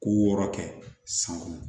Ko wɔɔrɔ kɛ san kɔnɔ